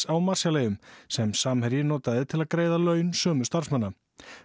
á Marshall eyjum sem Samherji notaði til að greiða laun sömu starfsmanna